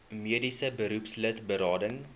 mediese beroepslid berading